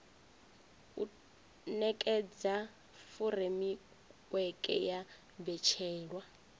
u nekedza furemiweke ya mbetshelwa